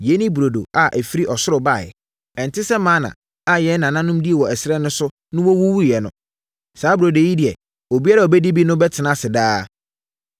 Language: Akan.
Yei ne burodo a ɛfiri ɔsoro baeɛ. Ɛnte sɛ mana a yɛn nananom dii wɔ ɛserɛ so na wɔwuwuiɛ no. Saa burodo yi deɛ, obiara a ɔbɛdi bi no bɛtena ase daa.”